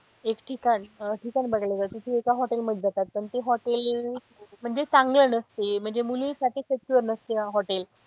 एक ठिकाण ठिकाण बघायला जातात ती एका hotel मध्ये जातात पण ते hotel म्हणजे चांगले नसते म्हणजे मुलींसाठी secure नसते hotel